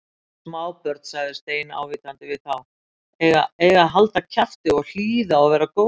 Smábörn sagði Stein ávítandi við þá, eiga að halda kjafti, hlýða og vera góð